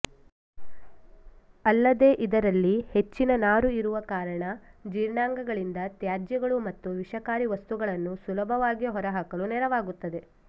ಅಲ್ಲದೇ ಇದರಲ್ಲಿ ಹೆಚ್ಚಿನ ನಾರು ಇರುವ ಕಾರಣ ಜೀರ್ಣಾಂಗಗಳಿಂದ ತ್ಯಾಜ್ಯಗಳು ಮತ್ತು ವಿಷಕಾರಿ ವಸ್ತುಗಳನ್ನು ಸುಲಭವಾಗಿ ಹೊರಹಾಕಲು ನೆರವಾಗುತ್ತದೆ